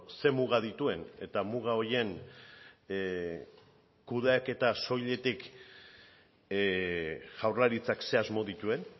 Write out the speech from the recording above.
ze muga dituen eta muga horien kudeaketa soilik jaurlaritzak ze asmo dituen